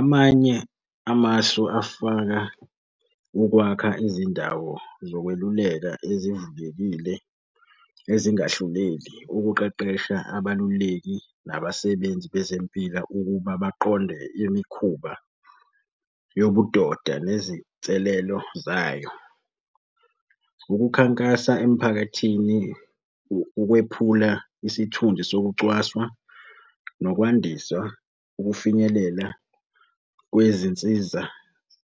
Amanye amasu afaka ukwakha izindawo zokweluleka ezivulekile ezingahluleli ukuqeqesha abaluleki nabasebenzi bezempilo ukuba baqonde imikhuba yobudoda nezinselelo zayo. Ukukhankasa emphakathini ukwephula isithunzi sokucwaswa, nokwandisa ukufinyelela kwezinsiza